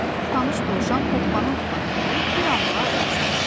Tanış dovşan hoppana-hoppana gəlib bir anlığa ayaq saxladı.